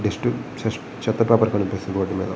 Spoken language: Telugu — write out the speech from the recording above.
డస్ట్ చెత్త పేపర్ కనిపిస్తుంది వాటి మీద.